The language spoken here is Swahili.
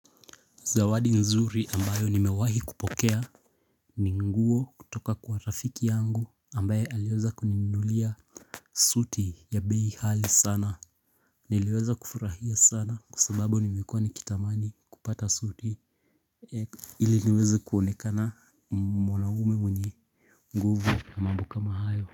Zawadi nzuri ambayo nimewahi kupokea Ninguo kutoka kwa rafiki yangu ambaye aliweza kuninunulia suti ya bei ghali sana Niliweza kufurahia sana kwa sababu nimekuwa nikitamani kupata suti Iliniweze kuonekana mwanaume mwenye nguvu na mambo kamabhayo.